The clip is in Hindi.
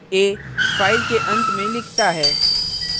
a –फाइल के अंत में लिखता है